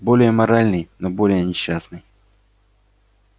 более моральный но более несчастный